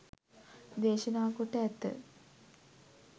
දේශනා කොට ඇත.